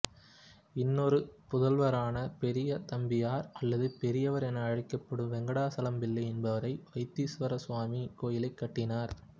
இன்னொரு புதல்வரான பெரியதம்பியார் அல்லது பெரியவர் என அழைக்கப்படும் வெங்கடாசலம்பிள்ளை என்பவரே வைத்தீசுவரசுவாமி கோயிலைக் கட்டினார்